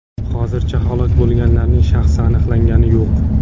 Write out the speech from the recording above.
Hozircha halok bo‘lganlarning shaxsi aniqlangani yo‘q.